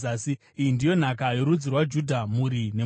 Iyi ndiyo nhaka yorudzi rwaJudha, mhuri nemhuri: